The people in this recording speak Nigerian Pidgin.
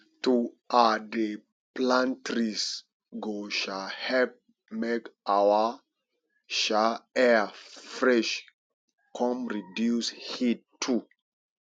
to um dey plant trees go um help make our um air fresh come reduce heat too